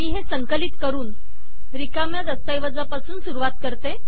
मी हे संकलित करुन रिकाम्या दस्तऐवजापासून सुरुवात करते